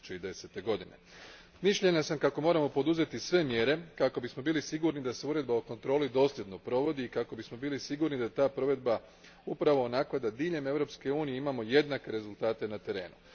2010. Mislim kako moramo poduzeti sve mjere kako bismo bili sigurni da se Uredba o kontroli dosljedno provodi i kako bismo bili sigurni da je ta provedba upravo onakva da diljem Europske unije imamo jednake rezultate na terenu.